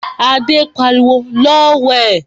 Adé pariwo, 'Lọ wẹ̀'